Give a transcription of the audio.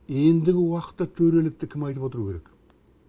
ендігі уақытта төрелікті кім айтып отыру керек